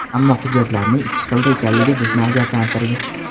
Ammo hujjatlarning ikki xilda ekanligi bizni ajablantirdi.